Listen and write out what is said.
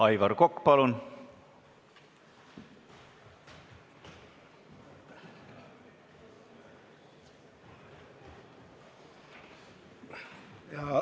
Aivar Kokk, palun!